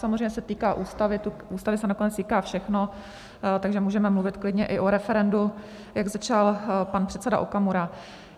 Samozřejmě se týká ústavy, to tady se nakonec týká všechno, takže můžeme mluvit klidně i o referendu, jak začal pan předseda Okamura.